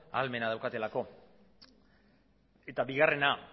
ahalmena daukatelako eta bigarrena